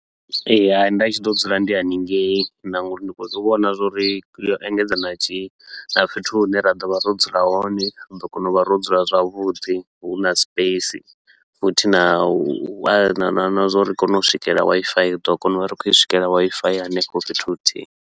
Ee hai, nda tshi ḓo dzula ndi hanengei na nga uri ndi khou vhona zwa uri yo engedza na tshi na fhethu hune ra ḓo vha ro dzula hone. Ri ḓo kona u vha ro dzula zwavhuḓi, hu na space futhi na u a na na zwauri ri kone u swikelela Wifi, ri ḓo kona u vha ri khou i swikelela Wi-Fi ya henefho fhethu huthihi.